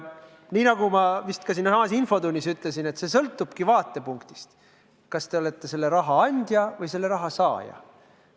Nii nagu ma vist ka infotunnis ütlesin, sõltub see vaatepunktist: kas te olete selle raha andja või selle raha saaja.